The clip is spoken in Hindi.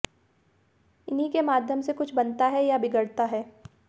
इन्हीं के माध्यम से कुछ बनता या बिगड़ता है